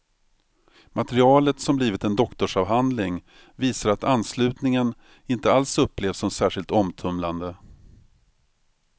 Materialet, som blivit en doktorsavhandling, visar att anslutningen inte alls upplevs som särskilt omtumlande.